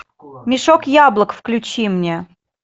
мешок яблок включи мне